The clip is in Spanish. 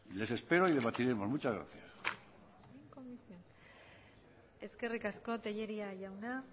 les espero y debatiremos muchas gracias eskerrik asko tellería jauna